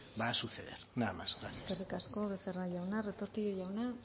va a suceder nada más muchas gracias eskerrik asko becerra jauna retortillo jauna